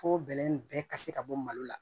Fo bɛlɛ in bɛɛ ka se ka bɔ malo la